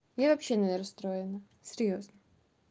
я вообще не расстроена серьёзно